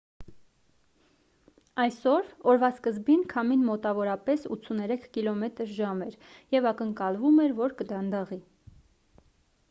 այսօր օրվա սկզբին քամին մոտավորապես 83 կմ/ժ էր և ակնկալվում էր որ կդանդաղի: